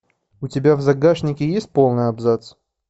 у тебя в загашнике есть полный абзац